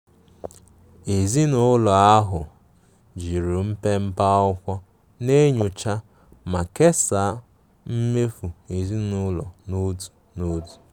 Ezinụlọ ahụ jiri mpepe akwụkwọ na-enyocha ma kesaa mmefu ezinụlọ n'otu n'otu.